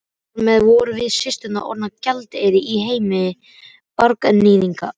Þar með vorum við systurnar orðnar gjaldeyrir í heimi barnaníðinga.